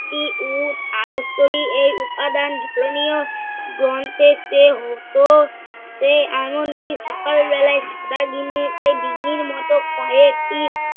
একতি উট এর উপাদান ধর্মীয় গ্রন্থের চেয়ে হতো সে এমন কি সকাল বেলা সারা দিনেতে ডিঙির মতো কয়েকটি